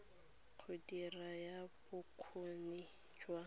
go dira ya bokgoni jo